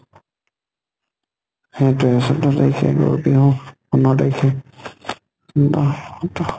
সেইটয়ে ছৈধ্য় তাৰিখে গৰু বিহু, পোন্ধৰ তাৰিখে ষোল্ল সোতৰ